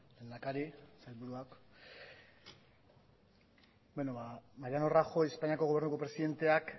lehendakari sailburuak beno ba mariano rajoy espainako gobernuko presidenteak